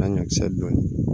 Na ɲakisɛ dun